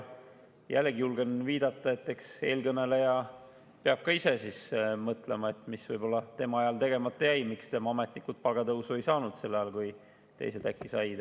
Jällegi julgen viidata, et eks eelkõneleja peab ka ise mõtlema, mis võib-olla tema ajal tegemata jäi, miks tema ametnikud palgatõusu ei saanud sel ajal, kui teised said.